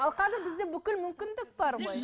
ал қазір бізде бүкіл мүмкіндік бар ғой